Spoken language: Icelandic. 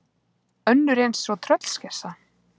Önnur eins og tröllskessa.